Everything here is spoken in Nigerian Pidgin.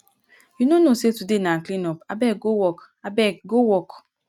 you no know say today na clean up abeg go work abeg go work